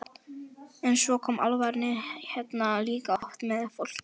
En svo koma álfarnir hérna líka oft með fólki.